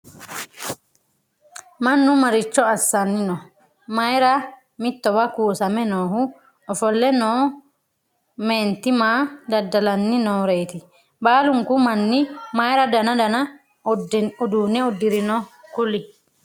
mannu maricho asanni no?mayiirati mittowa kuusamme noohu? ofolle noo meenti maa dadalanni noreeti? baalunku manni mayiira danna danna uduunne udirinoro kuli?